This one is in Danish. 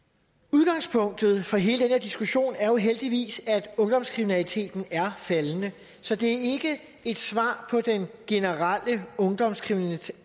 udgangspunktet for hele den her diskussion er jo heldigvis at ungdomskriminaliteten er faldende så det er ikke et svar på den generelle ungdomskriminalitet